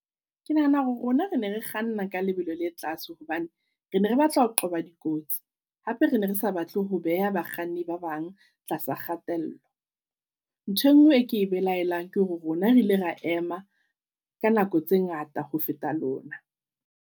Ke nahana hore rona re ne re kganna ka lebelo le tlase hobane, re ne re batla ho qoba di kotsi hape re ne re sa batle ho beha bakganni ba bang tlasa kgatello. Ntho e ngwe e ke e belaelang ke hore rona re ile ra ema ka nako tse ngata ho feta lona.